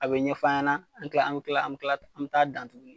A be ɲɛf'an ɲɛna an be kila an be kila an be t'a dan tuguni